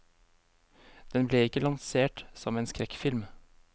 Den ble ikke lansert som en skrekkfilm.